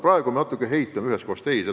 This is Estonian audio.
Praegu me natukene heitleme ühest kohast teise.